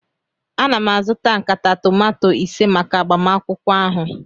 Ana m azụta nkata tomato ise maka agbamakwụkwọ ahụ